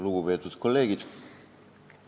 Lugupeetud kolleegid!